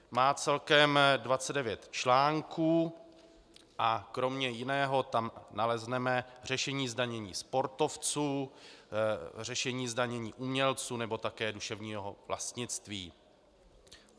Má celkem 29 článků a kromě jiného tam nalezneme řešení zdanění sportovců, řešení zdanění umělců nebo také duševního vlastnictví.